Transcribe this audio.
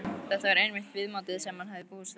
Þetta var einmitt viðmótið sem hann hafði búist við.